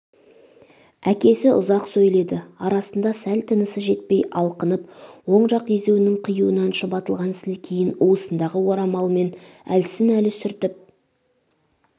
әкесі ұзақ сөйледі арасында сәл тынысы жетпей алқынып оң жақ езуінің қиюынан шұбатылған сілекейін уысындағы орамалымен әлсін-әлі сүртіп